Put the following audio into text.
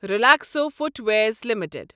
Relaxo footwears limited